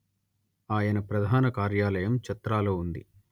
ఆయన ప్రధాన కార్యాలయం చత్రాలో ఉంది